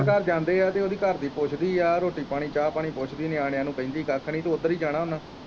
ਘਰ ਜਾਂਦੇ ਆ ਤੇ ਓਹਦੀ ਘਰਦੀ ਪੁੱਛਦੀ ਆ ਰੋਟੀ ਪਾਣੀ ਚਾਅ ਪਾਣੀ ਪੁੱਛਦੀ ਆ ਨਿਆਣੇਆ ਨੂੰ ਕਹਿੰਦੀ ਕੱਖ ਨੀ ਤੇ ਉਦਰ ਹੀ ਜਾਣਾ ਓਹਨਾ ਨੇ